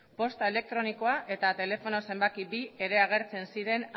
posta elektronikoa eta telefono zenbaki bi ere agertzen ziren